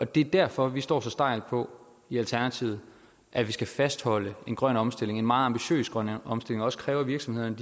det er derfor vi står så stejlt på i alternativet at vi skal fastholde en grøn omstilling en meget ambitiøs grøn omstilling og også kræve af virksomhederne